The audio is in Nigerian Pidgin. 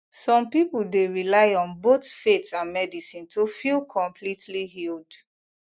some people dey rely on both faith and medicine to feel completely healed